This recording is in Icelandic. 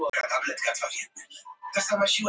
Dómari þarf ekki að víkja